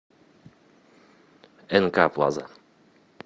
нк плаза